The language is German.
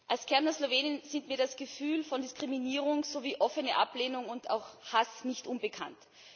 Als Kärntner Slowenin sind mir das Gefühl von Diskriminierung sowie offene Ablehnung und auch Hass nicht unbekannt.